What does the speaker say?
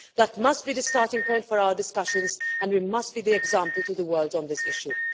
That must be the starting point for our discussions and we must be the example to the world on this issue.